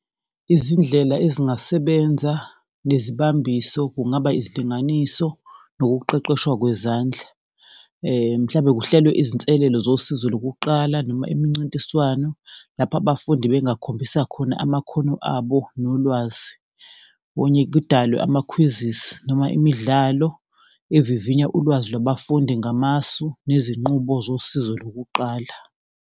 Izindlela ezingasebenza nezibambiso kungaba izidinganiso nokuqeqeshwa kwezandla, mhlawumbe kuhlelwe izinselelo zosizo lokuqala noma imincintiswano, lapho abafundi bengakhulisa khona amakhono abo nolwazi. Kudalwe ama-quizzes noma imidlalo evivinya ulwazi lwabafundi ngamasu nezinqubo zosizo lokuqala.